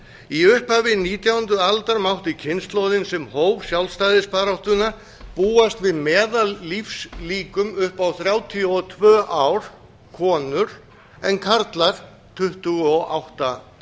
í upphafi nítjándu aldar mátti kynslóðin sem hóf sjálfstæðisbaráttuna búast við meðallífslíkum upp á þrjátíu og tvö ár konur en karlar tuttugu og átta